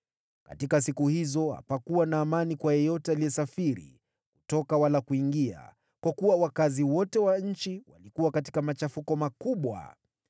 Katika siku hizo hapakuwa na amani kwa yeyote aliyesafiri, kutoka wala kuingia, kwa kuwa wakazi wote wa nchi walikuwa katika machafuko makubwa.